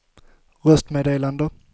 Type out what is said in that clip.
röstmeddelande